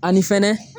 Ani fɛnɛ